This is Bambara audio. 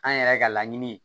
An yɛrɛ ka laɲini ye